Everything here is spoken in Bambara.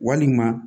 Walima